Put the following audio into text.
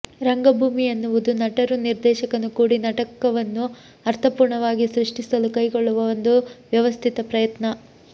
ರಂಗಭೂಮಿ ಎನ್ನುವುದು ನಟರೂ ನಿರ್ದೆಶಕನೂ ಕೂಡಿ ನಾಟಕವನ್ನು ಅರ್ಥಪೂರ್ಣವಾಗಿ ಸೃಷ್ಟಿಸಲು ಕೈಗೊಳ್ಳುವ ಒಂದು ವ್ಯವಸ್ಥಿತ ಪ್ರಯತ್ನ